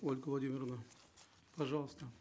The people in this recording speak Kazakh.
ольга владимировна пожалуйста